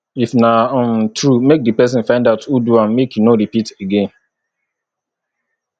if na um true make di persin find out who do am make e no repeat again